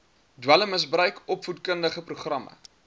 dwelmmisbruik opvoedkundige programme